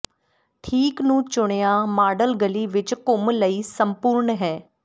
ਠੀਕ ਨੂੰ ਚੁਣਿਆ ਮਾਡਲ ਗਲੀ ਵਿੱਚ ਘੁੰਮ ਲਈ ਸੰਪੂਰਣ ਹੈ